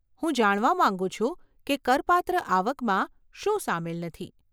હું જાણવા માંગુ છું કે કરપાત્ર આવકમાં શું સામેલ નથી.